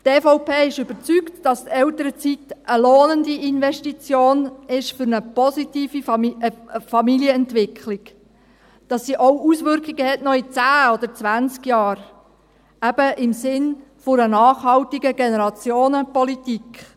Die EVP ist überzeugt, dass die Elternzeit eine lohnende Investition für eine positive Familienentwicklung ist und dass sie auch noch in zehn oder zwanzig Jahren Auswirkungen hat – eben im Sinn einer nachhaltigen Generationenpolitik.